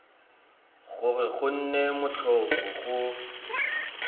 gore go nne motlhofo go